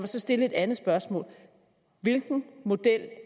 så stille et andet spørgsmål hvilken model